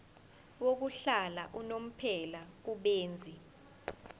yokuhlala unomphela kubenzi